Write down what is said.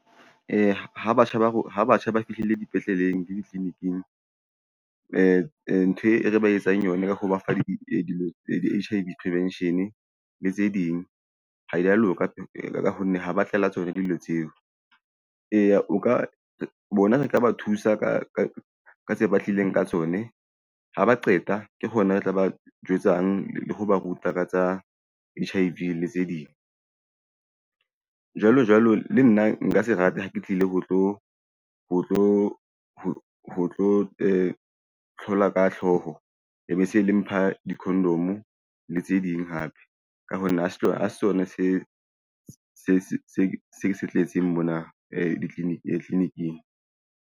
Ee, ha batjha ba fihlile dipetleleng le ditliniking, ntho e re ba etsang yone ka ho ba fa dilo di H_I_V prevention le tse ding ha di a loka ka ho nne ha ba tlela tsona dilo tseo. Eya, o ka bona re ka ba thusa ka tse batlileng ka tsone ha ba qeta ke hona re tla ba jwetsang le ho ba ruta ka tsa H_I_V le tse ding jwalo jwalo. Le nna nka se rate ha ke tlile ho tlo hlola ka hlooho. E be se le mpha di-condom le tse ding hape ka ho nne ha se sona se ke se tletseng mona clinic-ing.